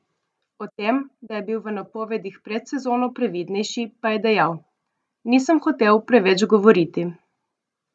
O tem, da je bil v napovedih pred sezono previdnejši, pa je dejal: "Nisem hotel preveč govoriti.